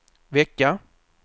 vecka